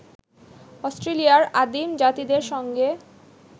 অস্ট্রেলিয়ার আদিম জাতিদের সঙ্গে